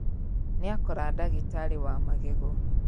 Nĩakora ndagĩtarĩ wa magego